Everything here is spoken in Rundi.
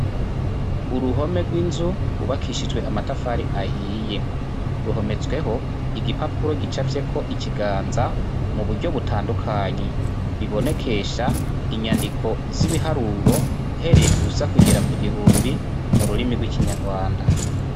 Uruhome rw'inzu rwubakishijwe amatafari ahiye. Ruhometsweho igipapuro gicafyeko ikiganza mu buryo butandukanye , bibonekesha inyandiko z'ibiharuro uhereye ku busa kugera ku gihumbi mu rurimi rw'ikinyarwanda.